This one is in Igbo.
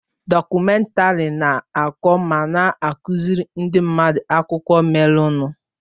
Dọkumèntari na-akọ ma na-akụziri ndị mmadụ akụkọ merenụ.